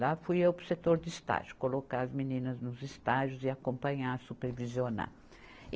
Lá fui eu para o setor de estágio, colocar as meninas nos estágios e acompanhar, supervisionar.